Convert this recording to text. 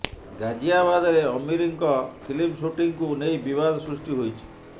ଗାଜିଆବାଦରେ ଆମୀରଙ୍କ ଫିଲ୍ମ ଶୁଟିଂକୁ ନେଇ ବିବାଦ ସୃଷ୍ଟି ହୋଇଛି